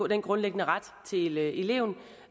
den grundlæggende ret til eleven